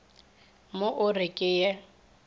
mo o re ke ye